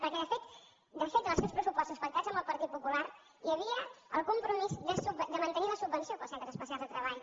perquè de fet en els seus pressupostos pactats amb el partit popular hi havia el compromís de mantenir la subvenció per als centres especials de treball